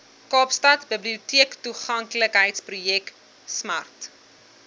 kaapstadse biblioteektoeganklikheidsprojek smart